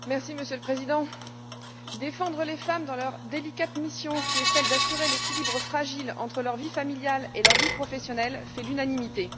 Monsieur le Président, défendre les femmes dans leur délicate mission, qui est celle d'assurer l'équilibre fragile entre leur vie familiale et leur vie professionnelle, fait l'unanimité.